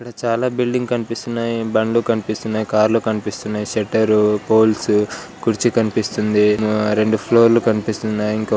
చాలా బిల్డింగ్లు కనిపిస్తున్నాయి బండ్లు కనిపిస్తున్నాయి కార్లు కనిపిస్తున్నాయి షెటరు పోల్స్ కుర్చీ కనిపిస్తుంది హుమ్ రెండు ఫ్లోర్ లు కనిపిస్తున్నాయి ఇంకో ఫ్లో--